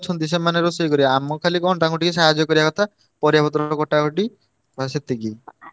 ଅଛନ୍ତି ସେମାନେ ରୋଷେଇ କରିବେ ଆମୁକୁ ଖାଲି କଣ ତାଙ୍କୁ ଟିକେ ସାହାର୍ଯ୍ୟ କରିଆ କଥା ପରିବାପତ୍ର କଟାକଟି ବାସ ସେତିକି।